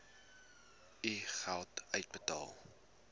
u geld uitbetaal